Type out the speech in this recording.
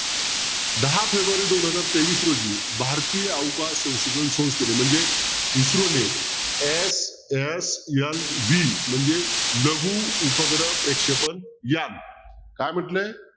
दहा फेब्रुवारी दोन हजार तेवीस रोजी भारतीय अवकार संशोधन संस्थेने म्हणजे इस्रोने SSLV म्हणजे लघु उपग्रह प्रेक्षपण यान काय म्हटले